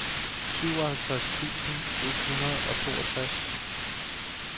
syvoghalvtreds tusind et hundrede og toogtres